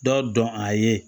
Dɔ dɔn a ye